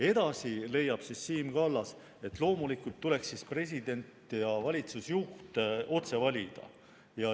" Edasi leiab Siim Kallas, et loomulikult tuleks president ja valitsusjuht otse valida.